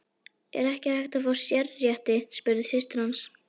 Er ekki hægt að fá sérrétti, spurði systir hans.